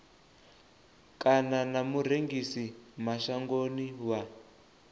kana na murengisi mashangoni wa